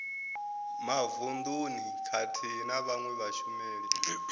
mavununi khathihi na vhawe vhashumeli